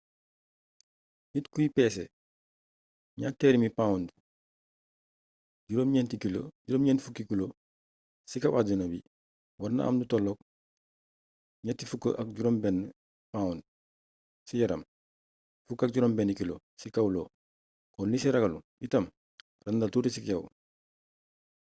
niit kuy pesee 200 pounds 90kg ci kaw àdduna bi warna am lu tolloog 36 pounds ci yaram 16kg ci kaw io. kon li si ragallu itam randal tuti ci yaw